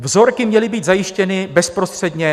Vzorky měly být zajištěny bezprostředně...